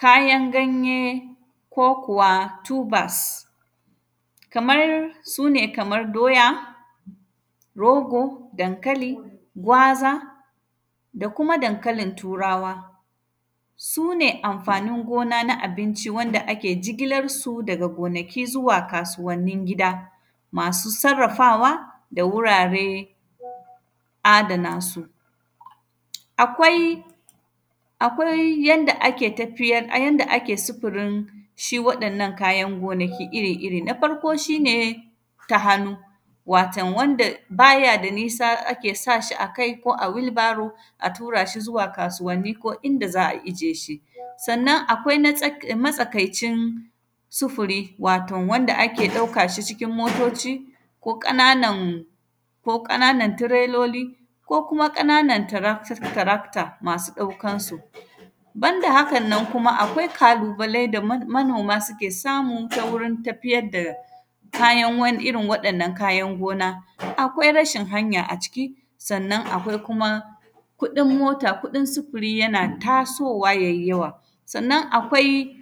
Kayan ganye ko kuwa “tubers”, kamar, su ne kamar doya, rogo, dankali, gwaza da kuma dankalin Turawa, su neamfanin gona na abinci wanda ake jigilarsu daga gonaki zuwa kasuwannin gida. Masu sarrafawa da wurare adana su, akwai, akwai yanda ake tafiyad, yanda ake sufurin shi waɗannan kayan gonaki iri-iri. Na farko, shi ne ta hanu, waton wanda ba ya da nisa, ake sa shi a kai ko wilbaro, a tura shi zuwa kasuwanni ko inda za a ijiye shi. Sannan, akwai na tsak; matsakaicin sufuri, waton wanda ake ɗauka shi cikin motoci ko ƙananan, ko ƙananan tireloli ko kuma ƙananan tarakti; tarakta masu ɗaukan su. Ban da hakan nan kuma, akwai kalubale da me; manoma sike samu ta wurin tafiyad da kayan wani; irin waɗannan kayan gona. Akwai rashin hanya a ciki, sannan, akwai kuma kuɗin mota, kuɗin sufuri yana tasowa yai yawa. Sannan, akwai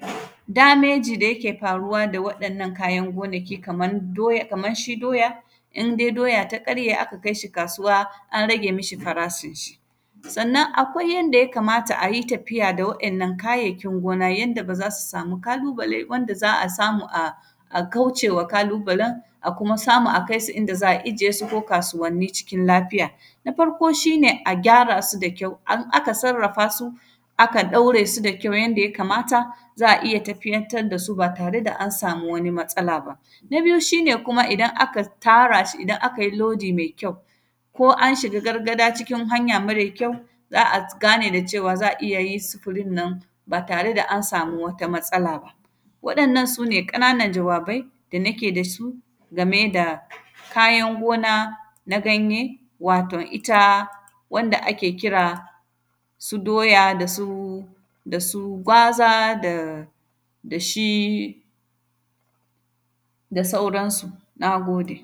dameji da yake faruwa da waɗannan kayan gonaki kaman doy; kaman shi doya, indai doya ta ƙarye aka kais hi kasuwa, an rage mishi farashinshi. Sannan, akwai yanda ya kamata a yi tafiya da wa’yannan kayayyakin gona yanda ba za su sami kalubale wanda za a samu a, a kauce wa kalubalen, a kuma samu a kai su inda za a ijiye su ko kasuwanni cikin lafiya. Na farko, shi ne a gyara su da kyau, an aka sarrafa su aka ɗaure su da kyau yanda ya kamata, za a iya tafiyantad da su ba tare da an samu wani matsala ba. Na biyu, shi ne kuma idan aka tara shi, idan akai lodi mai kyau, ko an shiga gargada cikin hanya mare kyau, za a gane da cewa, za a iya yi sufurin nan, ba tare da an samu wata matsala ba. Waɗannan, su ne ƙananan jawabai da nake da su game da kayan gona na ganye, waton ita wanda a ke kira su doya da su, da su gwaza da, da shi, da sauransu, na gode.